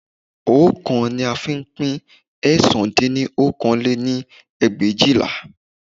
Oókan ni a lè fi pín ẹ̀sán dín ní okòó lé-ní ẹgbẹ̀éjìlá.